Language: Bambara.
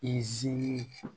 Izini